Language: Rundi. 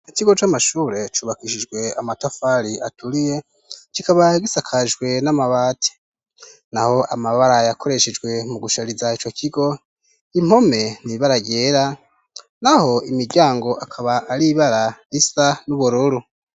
Ikigo c'amashure cubakishijwe amatafari aturiye kikaba gisakashwe n'amabati na ho amabara yakoreshejwe mu gushariza co kigo impome n'ibara ryera na ho imiryango akaba aribara isa n'ubururu.